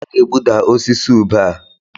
A ga-egbuda osisi ube a.